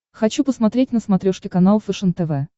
хочу посмотреть на смотрешке канал фэшен тв